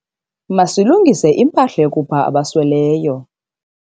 Masilungise impahla yokupha abasweleyo.